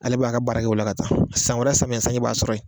Ale b'a ka baara kɛ o la ka taa san wɛrɛ samiyɛ sanji b'a sɔrɔ yen